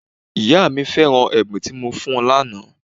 Ìyá mí feran ẹ̀bùn tí mo fún un lànà